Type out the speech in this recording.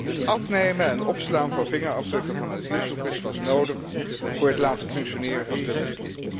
Het afnemen en opslaan van vingerafdrukken van asielzoekers was nodig voor het laten functioneren van Dublin.